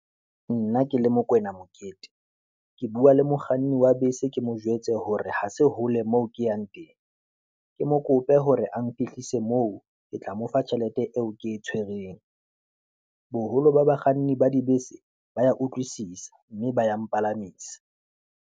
Nna ke le Mokoena Mokete, ke bua le mokganni wa bese ke mo jwetse hore ha se hole moo ke yang teng, ke mo kope hore a mphehlisa moo, ke tla mo fa tjhelete eo ke e tshwereng. Boholo ba bakganni ba dibese ba ya utlwisisa, mme ba ya mpalamisa.